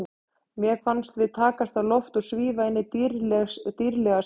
Mér fannst við takast á loft og svífa inn í dýrðlega sýn.